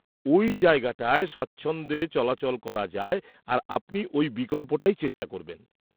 -ওই জায়গাটায় স্বাচ্ছন্দ্যে চলাচল করা যায় আর আপনি ওই বিকল্পটাই চেষ্টা করবেন।